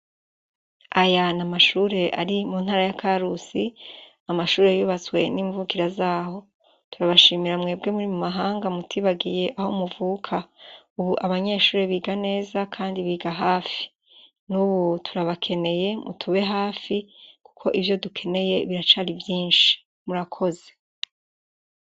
Aya ni amashure ari muntara ya Karusi. Amashure yubatswe nimvukira zaho, turabashimira mwebwe muri mumahanga mutibagiye aho muvuka, ubu abanyeshure biga neza kandi biga hafi. Nubu turabakeneye mutube hafi kuko ivyo dukeneye biracari vyinshi. MURAKOZE